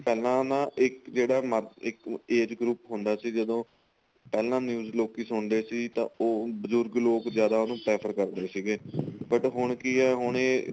ਪਹਿਲਾਂ ਨਾ ਇੱਕ ਜਿਹੜਾ ਮਰਜ ਇੱਕ age group ਹੁੰਦਾ ਸੀ ਪਹਿਲਾਂ news ਲੋਕੀ ਸੁਣਦੇ ਸੀ ਤਾਂ ਉਹ ਬਜੁਰਗ ਲੋਕ ਜਿਆਦਾ ਉਹਨੂੰ prefer ਕਰਦੇ ਸੀਗੇ but ਹੁਣ ਕੀ ਏ ਹੁਣ ਇਹ